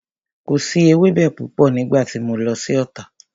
Kò si ewẹ́bẹ púpọ̀ nígbà tí mo lọ sí Ota